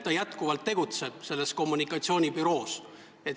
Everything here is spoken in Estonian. Ta jätkuvalt tegutseb selles kommunikatsioonibüroos.